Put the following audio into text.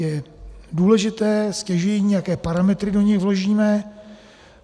Je důležité, stěžejní, jaké parametry do nich vložíme.